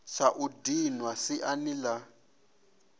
sa u dinwa siani la